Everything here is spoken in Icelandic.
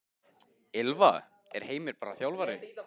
Ylfa: Er Heimir bara þjálfari?